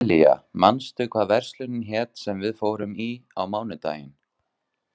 Sessilía, manstu hvað verslunin hét sem við fórum í á mánudaginn?